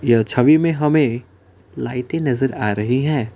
यह छवि में हमें लाइटें नजर आ रही हैं।